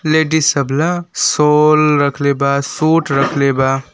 Ladies सब ला shawl रखले बा सूट रखले बा।